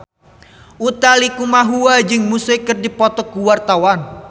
Utha Likumahua jeung Muse keur dipoto ku wartawan